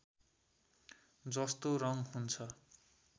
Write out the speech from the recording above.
जस्तो रङ हुन्छ